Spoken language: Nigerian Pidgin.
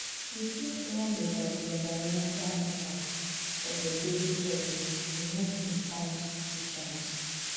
You fit learn about di environmental impact of your daily choices and make informed decisions.